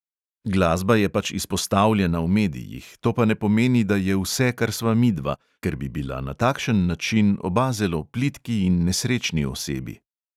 Glasba je pač izpostavljena v medijih, to pa ne pomeni, da je vse, kar sva midva, ker bi bila na takšen način oba zelo plitki in nesrečni osebi.